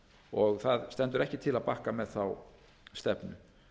og það stendur ekki til að bakka með þá stefnu